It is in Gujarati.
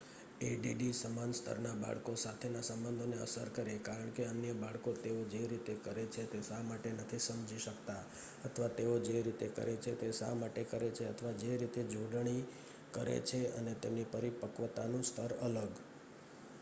એડીડી સમાન સ્તરના બાળકો સાથેના સંબંધોને અસર કરે કારણ કે અન્ય બાળકો તેઓ જે રીતે કરે છે તે શા માટે નથી સમજી શકતા અથવા તેઓ જે રીતે કરે છે તે શા માટે કરે છે અથવા જે રીતે જોડણી કરે છે અને તેમની પરિપક્વતાનું સ્તર અલગ